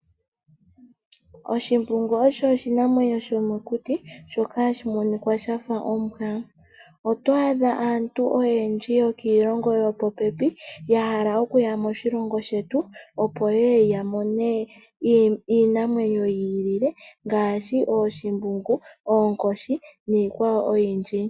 Oshimbungu osho oshinamwenyo shomokuti shoka hashi monika shafa ombwa, oto adha aantu oyendji yokiilongo yopo pepi ya hala okuya moshilongo shetu opo ye ye yamone iinamwenyo ya yooloka ngaashi ooshimbungu, oonkoshi niikwawo oyindji.